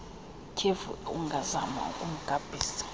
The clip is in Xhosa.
ityhefu ungazama ukumgabhisa